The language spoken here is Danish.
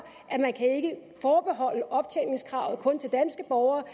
at man ikke kan forbeholde optjeningskravet kun til danske borgere